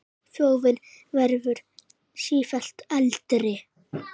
Þjóðin verður sífellt eldri.